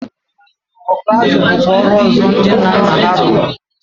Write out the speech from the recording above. Ọkụ azụ bụkwa ọrụ ọzọ ndị nna nna ha rụrụ.